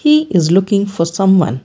he is looking for someone.